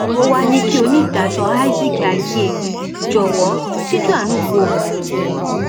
ó wàá ní kí onídàájọ isaac agyéí jọwọ síjú àánú wo òun